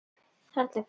Þarna gisti ég.